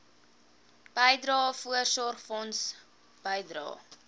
bydrae voorsorgfonds bydrae